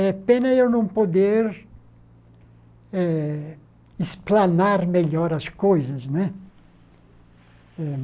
É pena eu não poder eh esplanar melhor as coisas, né?